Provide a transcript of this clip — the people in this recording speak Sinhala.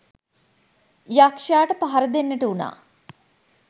යක්‍ෂයාට පහර දෙන්නට වුණා.